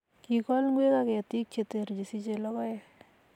kikool ngwek ak ketik cheteer chesichei lokoek